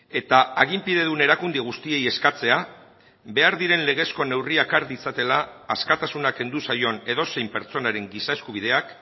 eta aginpidedun erakunde guztiei eskatzea behar diren legezko neurriak har ditzatela askatasuna kendu zaion edozein pertsonaren giza eskubideak